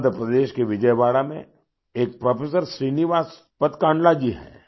आंध्र प्रदेश के विजयवाड़ा में एक प्रोफेसर श्रीनिवास पदकांडला जी है